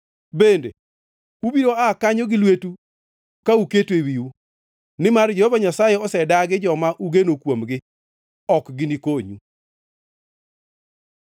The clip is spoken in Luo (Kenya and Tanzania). Bende ubiro aa kanyo gi lweteu ka uketo ewiu, nimar Jehova Nyasaye osedagi joma ugeno kuomgi; ok ginikonyu.”